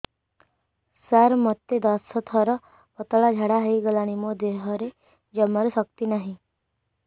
ସାର ମୋତେ ଦଶ ଥର ପତଳା ଝାଡା ହେଇଗଲାଣି ମୋ ଦେହରେ ଜମାରୁ ଶକ୍ତି ନାହିଁ